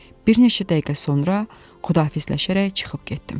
Bir neçə dəqiqə sonra Xudafizləşərək çıxıb getdim.